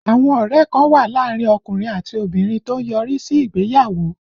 Àwọn ọ̀rẹ́ kan wà láàárín ọkùnrin àti obìnrin tó ń yọrí sí ìgbéyàwó